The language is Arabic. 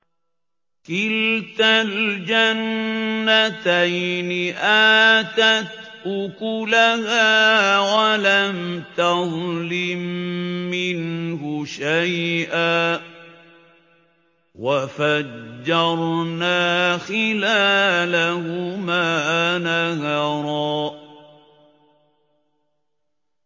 كِلْتَا الْجَنَّتَيْنِ آتَتْ أُكُلَهَا وَلَمْ تَظْلِم مِّنْهُ شَيْئًا ۚ وَفَجَّرْنَا خِلَالَهُمَا نَهَرًا